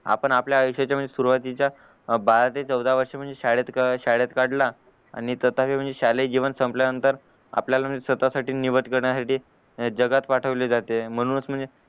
आपण आपल्या आयुष्य च्या सूरवातीच्या बारा ते चोदा वर्ष म्हणजे शाळेत काढला आणि म्हणजे शालेय जीवन संपल्या नतंर आपल्या स्वतःसाठी निवड करण्यासाठी जगात पाठवले जाते म्हणूनच म्हणजे